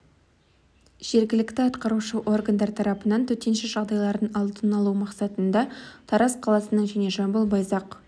жергілікті атқарушы органдар тарапынан төтенше жағдайлардың алдын алу мақсатында жамбыл облысында тараз қаласының және жамбыл байзақ